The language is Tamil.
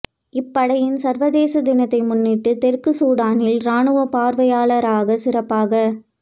இப்படையின் சர்வதேச தினத்தை முன்னிட்டு தெற்கு சூடானில் ராணுவ பார்வையாளராக சிறப்பாக